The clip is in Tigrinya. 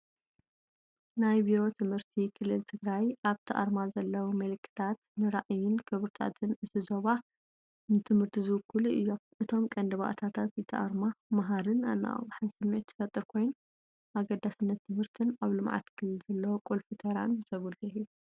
ናይ ቢሮ ትምህርቲ ክልል ትግራይ፣ ኣብቲ ኣርማ ዘለዉ ምልክታት ንራእይን ክብርታትን እቲ ዞባ ንትምህርቲ ዝውክሉ እዮም። እቶም ቀንዲ ባእታታት እቲ ኣርማ መሃርን ኣነቓቓሕን ስምዒት ዝፈጥር ኮይኑ፡ ኣገዳስነት ትምህርትን ኣብ ልምዓት ክልል ዘለዎ ቁልፊ ተራን ዘጉልሕ እዩ።